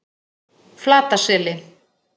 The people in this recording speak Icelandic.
Flataseli